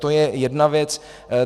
To je jedna věc.